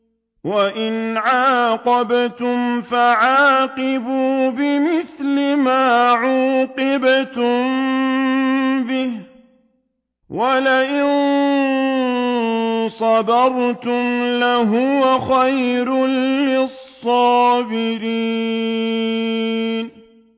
وَإِنْ عَاقَبْتُمْ فَعَاقِبُوا بِمِثْلِ مَا عُوقِبْتُم بِهِ ۖ وَلَئِن صَبَرْتُمْ لَهُوَ خَيْرٌ لِّلصَّابِرِينَ